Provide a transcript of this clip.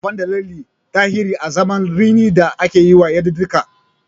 Ana amfani da lalle a tarihi azaman rini da akeyiwa yadudduka.